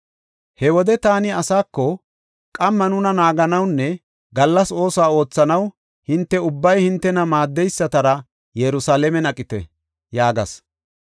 He wode taani asaako, “Qamma nuna naaganawunne gallas oosuwa oothanaw hinte ubbay hintena maaddeysatara Yerusalaamen aqite” yaagas.